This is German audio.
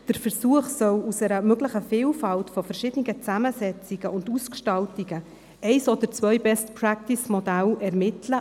Der Versuch soll aus einer möglichen Vielfalt verschiedener Zusammensetzungen und Ausgestaltungen ein oder zwei Best-Practice-Modelle ermitteln.